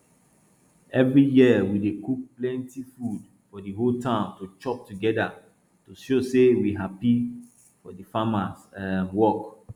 every year we dey cook plenti food for di whole town to chop together to show say we happy for di farmers um work